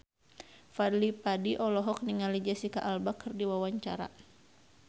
Fadly Padi olohok ningali Jesicca Alba keur diwawancara